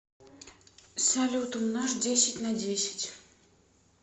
салют умножь десять на десять